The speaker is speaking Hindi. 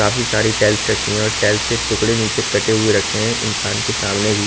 काफी सारी टाइल्स रखी हैं और टाइल्स के टुकड़े नीचे कटे हुए रखे हैं इंसान के सामने भी --